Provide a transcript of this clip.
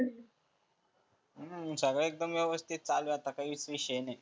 सगळ एकदम चांगलं चालु आहे काहीच विषय नाहीए.